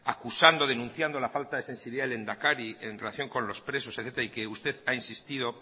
acusando denunciando la falta de sensibilidad del lehendakari en relación con los presos de eta y que usted ha insistido